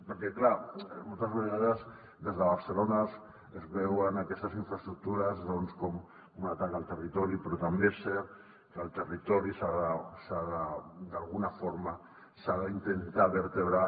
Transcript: perquè clar moltes vegades des de barcelona es veuen aquestes infraestructures com un atac al territori però també és cert que el territori d’alguna forma s’ha d’intentar vertebrar